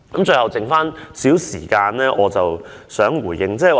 最後，剩餘少許時間，我想作少許回應。